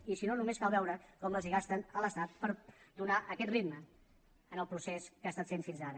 i si no només cal veure com les hi gasten a l’estat per donar aquest ritme en el procés que ha estat fent fins ara